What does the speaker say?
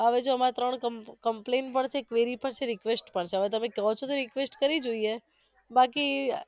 હવે જો અમારે ત્રણ comp complain પણ છે query પણ છે request પણ છે હવે તમે ક્યો છો તો request કરી જોઈએ બાકી